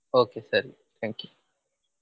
Okay ಸರಿ thank you .